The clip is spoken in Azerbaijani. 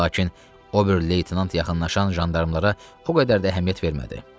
Lakin o bir leytenant yaxınlaşan jandarmlara o qədər də əhəmiyyət vermədi.